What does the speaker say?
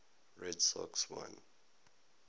red sox won